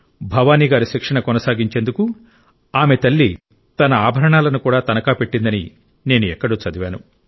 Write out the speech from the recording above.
భవాని గారు శిక్షణ కొనసాగించేందుకు ఆమె తల్లి తన ఆభరణాలను కూడా తనఖా పెట్టిందని నేను ఎక్కడో చదివాను